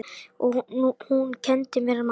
Og hún kenndi mér margt.